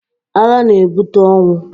Agha na-ebute ọnwụ.